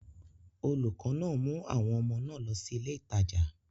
Olùkọ́ náà mú àwọn ọmọ náà lọ sí ilé ìtajà.